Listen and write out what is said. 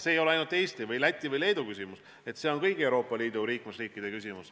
See ei ole ainult Eesti või Läti või Leedu küsimus, see on kõigi Euroopa Liidu liikmesriikide küsimus.